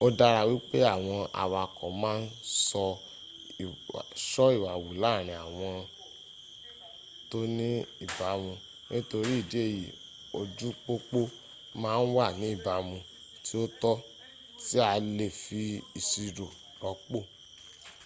ó dára wípé àwọn awakọ̀ ma ń ṣọ́ ìwà wù láàrin ìwọ̀n tó ní ìbámú ; nítorí ìdí èyí ojú pópó ma ń wà ní ìbámu tí ó tọ́ tí a lefi ìṣirò rọ́pò